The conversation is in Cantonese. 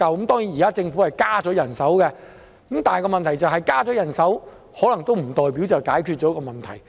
當然，現時政府已增加人手，但問題是，增加人手可能也不代表已經解決問題。